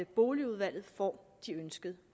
boligudvalget får de ønskede